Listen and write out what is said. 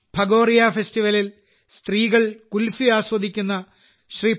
ഭഗോറിയ ഫെസ്റ്റിവലിൽ സ്ത്രീകൾ കുൽഫി ആസ്വദിക്കുന്ന ശ്രീ